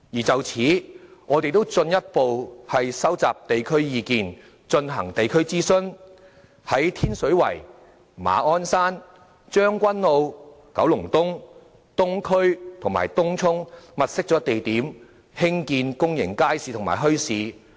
就此，我們亦進一步收集地區意見，進行地區諮詢，在天水圍、馬鞍山、將軍澳、九龍東、東區及東涌物色了地點，興建公眾街市及墟市。